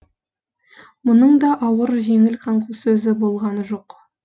мұның да ауыр жеңіл қаңқу сөзі болғаны жоқ